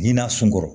Ɲinan sunkɔrɔ